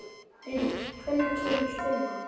Brynjar, hvenær kemur fimman?